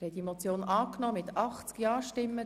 Sie haben die Motion angenommen.